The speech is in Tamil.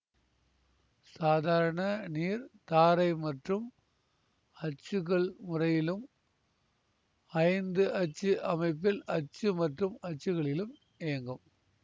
சாதாரண நீர் தாரை மற்றும் அச்சுகள் முறையிலும் ஐந்து அச்சு அமைப்பில் அச்சு மற்றும் அச்சுகளிலும் இயங்கும்